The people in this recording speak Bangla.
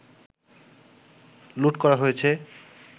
লুট করা হয়েছে